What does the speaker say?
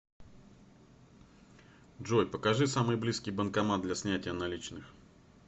джой покажи самый близкий банкомат для снятия наличных